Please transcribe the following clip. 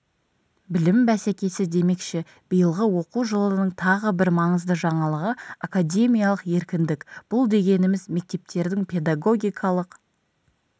білім бәсекесі демекші биылғы оқу жылының тағы бір маңызды жаңалығы академиялық еркіндік бұл дегеніміз мектептердің педагогикалық